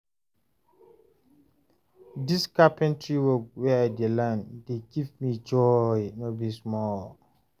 dis carpentry work wey I dey learn dey give me joy no be small